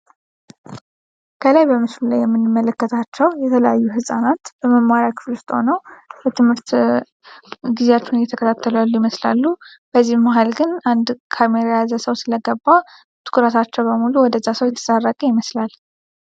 ከላይ በምሱን ላይ የምንመለከታቸው የተለያዩ ሕፃናት በመማሪያ ክፍልፍጥ ሆኖ በትምህርት ጊዜያቹን እየተከታተለያሉ ይመስላሉ በዚህ መሃል ግን አንድ ካሜሪያዘሰው ስለገባ ትኩራታቸው በሙሉ ወደ ዛሰው የተሳረገ ይመስላል።